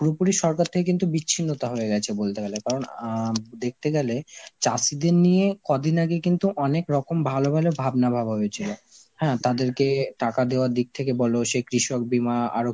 পুরোপুরি সরকার থেকে বিচ্ছিন্নতা হয়ে গেছে বলতে গেলে কারণ আ দেখতে গেলে চাষীদের নিয়ে কদিন আগে কিন্তু অনেক রকম ভালো ভালো ভাবনা ভাবা হয়েছিল. হ্যাঁ তাদেরকে টাকা দেওয়ার দিক থেকে বলো, সে কৃষক বীমা আরো